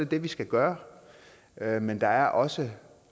det vi skal gøre gøre men der er også